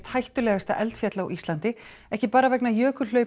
hættulegasta eldfjall á Íslandi ekki bara vegna